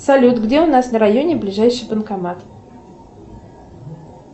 салют где у нас на районе ближайший банкомат